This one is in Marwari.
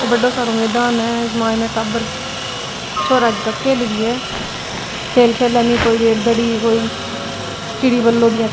बड्डो सारो मैदान है इके माइन टाबर छोरा जीका खेल रिया है खेल खेले नी कोई चिड़ी बल्लो --